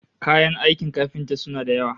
Kayan aikin kafinta suna da yawa